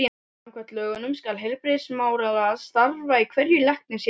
Samkvæmt lögunum skal heilbrigðismálaráð starfa í hverju læknishéraði.